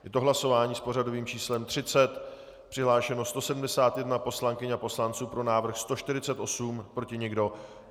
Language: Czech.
Je to hlasování s pořadovým číslem 30, přihlášeno 171 poslankyň a poslanců, pro návrh 148, proti nikdo.